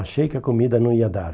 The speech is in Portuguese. Achei que a comida não ia dar.